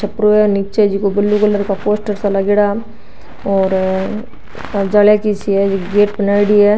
छपरो ह निचे जको ब्लू कलर का पोस्टर सो लागेडा और जालिया की सी है गेट बनाईडी है।